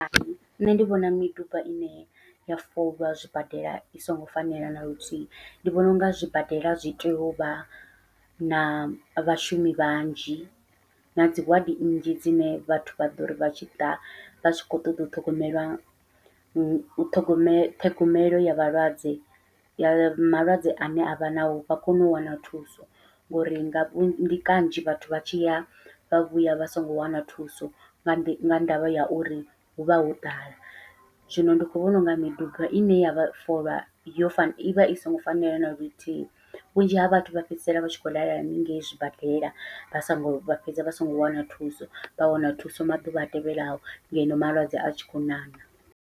Nṋe ndi vhona miduba ine ya folwa zwibadela i songo fanela naluthihi, ndi vhona unga zwibadela zwi tea uvha na vhashumi vhanzhi nadzi wadi nnzhi dzine vhathu vha ḓori vha tshiḓa vha tshi khou ṱoḓa u ṱhogomelwa, muṱhogome ṱhogomelo ya vhalwadze ya malwadze ane avha navho vha kone u wana thuso ngori nga vhunzhi ndi kanzhi vhathu vha tshi ya vha vhuya vha songo wana thuso nga ndi nga ndavha ya uri huvha ho ḓala. Zwino ndi khou vhona unga miduba ine ya folwa yo fanela ivha i songo fanela naluthihi, vhunzhi ha vhathu vha fhedzisela vha tshi khou lala haningei zwibadela vha songo vha fhedza vha songo wana thuso vha wana thuso maḓuvha a tevhelaho ngeno malwadze a tshi khou ṋaṋa.